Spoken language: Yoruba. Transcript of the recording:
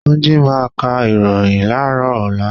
Túnjí máa ka ìròhìn láàrọ́ ọ̀la.